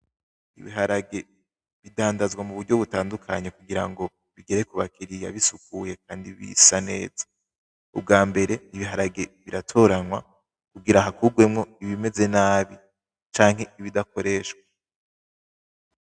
Ibiharage bidandazwa mu buryo butandukanye kugirango bigere kuba kiriya bisukuye kandi bisa neza ubwa mbere ibiharage biratoranwa kugira hakugwemo ibimeze nabi canke ibidakoreshwa .